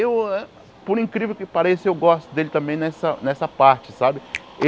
Eu, por incrível que pareça, eu gosto dele também nessa nessa parte, sabe?